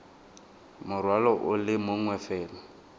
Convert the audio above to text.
morwalo o le mongwe fela